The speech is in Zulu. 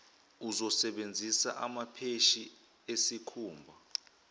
uzosebenzisa amapheshi esikhumba